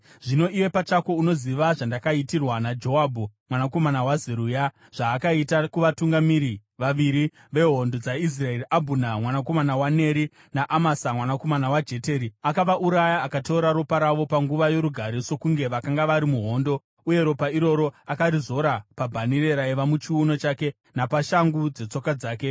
“Zvino iwe pachako unoziva zvandakaitirwa naJoabhu, mwanakomana waZeruya, zvaakaita kuvatungamiri vaviri vehondo dzaIsraeri, Abhuna mwanakomana waNeri, naAmasa mwanakomana waJeteri. Akavauraya, akateura ropa ravo panguva yorugare sokunge vakanga vari muhondo, uye ropa iroro akarizora pabhanhire raiva muchiuno chake napashangu dzetsoka dzake.